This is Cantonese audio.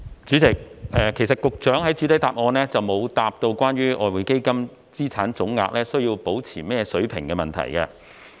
主席，局長其實未有在主體答覆回答關於外匯基金資產總額須維持在甚麼水平的問題。